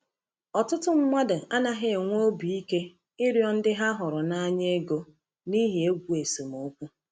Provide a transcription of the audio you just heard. Ọtụtụ mmadụ anaghị enwe obi ike ịrịọ ndị ha hụrụ n’anya ego n’ihi egwu esemokwu.